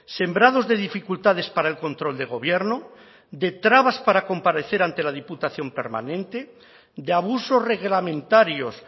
sembrados de dificultades para el control de gobierno de trabas para comparecer ante la diputación permanente de abusos reglamentarios